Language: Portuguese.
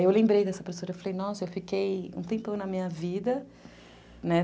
Aí eu lembrei dessa professora, eu falei, nossa, eu fiquei um tempão na minha vida, né?